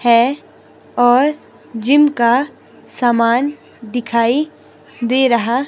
है और जिम का सामान दिखाई दे रहा--